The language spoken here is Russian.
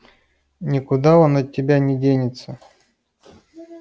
никуда он от меня не денется